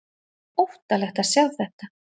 Óttalegt að sjá þetta!